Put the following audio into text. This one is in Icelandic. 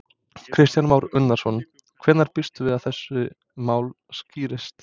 Kristján Már Unnarsson: Hvenær býstu við að þessi mál skýrist?